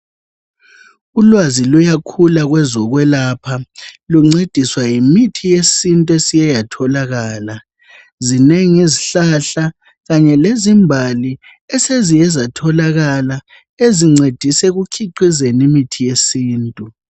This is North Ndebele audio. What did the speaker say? Ulwazi luyakhula kwezokwelapha luncediswa yimithi yesintu esiye yatholakala. Zinengi izihlahla kanye lezimbali eseziye zatholakala ezincedisa ekukhiqizeni imithi yesintu.